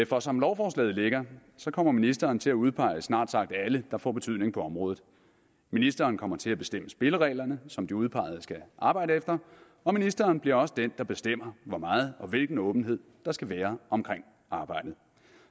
for som lovforslaget ligger kommer ministeren til at udpege snart sagt alle der får betydning på området ministeren kommer til at bestemme spillereglerne som de udpegede skal arbejde efter og ministeren bliver også den der bestemmer hvor meget og hvilken åbenhed der skal være omkring arbejdet